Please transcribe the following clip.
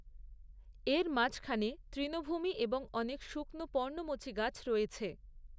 এর মাঝখানে তৃণভূমি এবং অনেক শুকনো পর্ণমোচী গাছ রয়েছে।